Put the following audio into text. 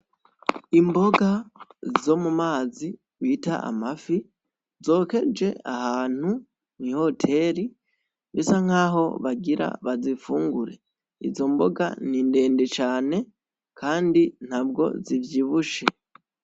Imboga zo mu mazi bita amafi, zokeje ahantu mw'ihoteri, bisa nkaho bagira bazifungure, izo mboga ni ndende cane kandi ntabwo zivyibushe.